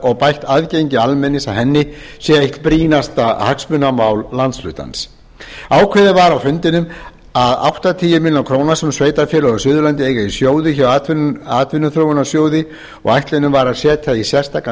og bætt aðgengi almennings að henni sé eitt brýnasta hagsmunamál landshlutans ákveðið var á fundinum að áttatíu milljónir króna sem sveitarfélög á suðurlandi eiga í sjóði hjá atvinnuþróunarsjóði og ætlunin var að setja í sérstakan